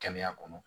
Kɛnɛya kɔnɔ